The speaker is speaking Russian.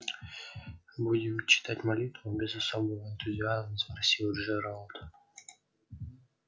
будем читать молитву без особого энтузиазма спросил джералд